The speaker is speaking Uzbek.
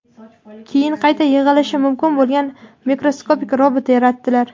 keyin qayta yig‘ilishi mumkin bo‘lgan mikroskopik robot yaratdilar.